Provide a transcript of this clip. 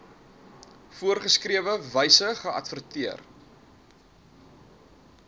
voorgeskrewe wyse geadverteer